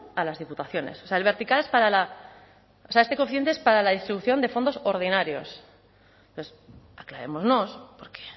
a las diputaciones o sea el vertical es para la o sea este coeficiente es para la distribución de fondos ordinarios entonces aclarémonos porque